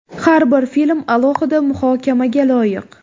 Har bir film alohida muhokamaga loyiq.